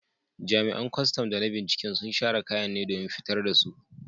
Jami’an kwastam da na binciken sun share kayan ne domin fitar da su.